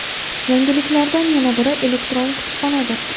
Yangiliklardan yana biri – elektron kutubxonadir.